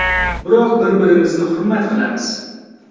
Biroq bir-birimizni hurmat qilamiz.